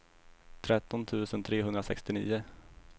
tretton tusen trehundrasextionio